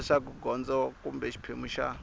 leswaku gondzo kumbe xiphemu xa